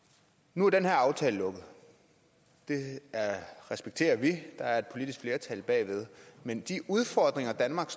nu er den her aftale lukket det respekterer vi der er et politisk flertal bag men de udfordringer danmark